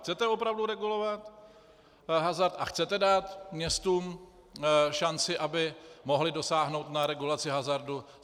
Chcete opravdu regulovat hazard a chcete dát městům šanci, aby mohla dosáhnout na regulaci hazardu?